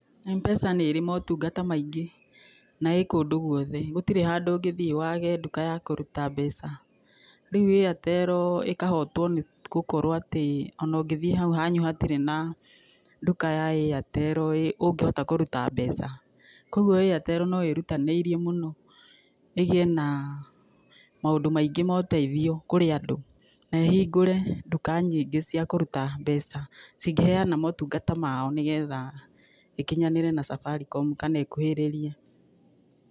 M-PESA nĩ ĩrĩ motungata maingĩ, na ĩkũndũ gwothe, gũtirĩ handũ ũngĩthiĩ wage nduka ya kũruta mbeca, rĩu Airtel ĩkahotwo nĩ gũkorwo atĩ, ona ũngĩthiĩ hau hanyu hatirĩ na nduka ya airtel ĩ ũngĩhota kũruta mbeca, kwoguo Airtel no ĩrutanĩirie mũno, agĩe na maũndũ maingĩ ma ũteithio kũrĩ andũ, na ĩhingũre nduka nyingĩ cia kũruta mbeca, cingĩheana motungata mao nĩ getha ĩkinyanĩre na Safaricom, kana ĩkuhĩrĩrie.